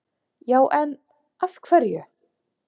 Já en. af hverju?